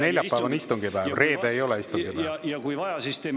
Neljapäev on istungipäev, reede ei ole istungipäev.